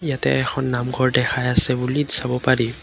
ইয়াতে এখন নামঘৰ দেখাই আছে বুলি চাব পাৰি।